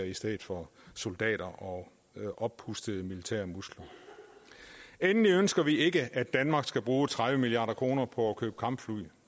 i stedet for soldater og oppustede militære muskler endelig ønsker vi ikke at danmark skal bruge tredive milliard kroner på at købe kampfly